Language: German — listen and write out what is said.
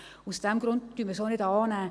Daher nehmen wir es auch nicht an.